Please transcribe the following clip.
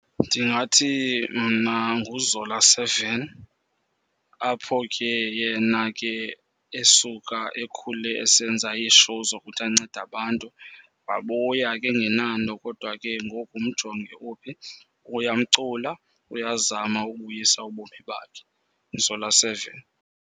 Ndingathi mna nguZola Seven. Apho ke yena ke esuka ekhule esenza iishowu zokuthi ancede abantu. Wabuya ke engenanto, kodwa ke ngoku mjonge uphi. Uyamcula, uyazama ukubuyisa ubomi bakhe uZola Seven.